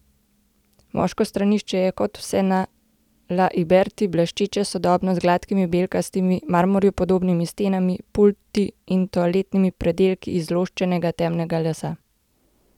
Moško stranišče je, kot vse na La Iberi, bleščeče sodobno, z gladkimi belkastimi, marmorju podobnimi stenami, pulti in toaletnimi predelki iz zloščenega temnega lesa.